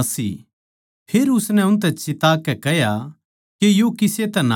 फेर उसनै उनतै चिताकै कह्या के यो किसे तै ना कहियो